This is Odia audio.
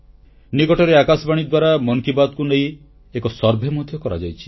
ନିକଟରେ ଆକାଶବାଣୀ ଦ୍ୱାରା ମନ କି ବାତ୍କୁ ନେଇ ଏକ ସର୍ଭେ ମଧ୍ୟ କରାଯାଇଛି